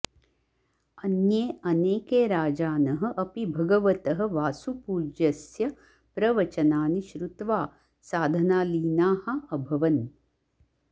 अन्ये अनेके राजानः अपि भगवतः वासुपूज्यस्य प्रवचनानि श्रुत्वा साधनालीनाः अभवन्